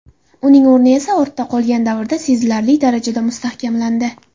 Uning o‘rni esa ortda qolgan davrda sezilarli darajada mustahkamlandi.